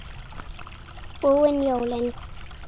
Búin jólin.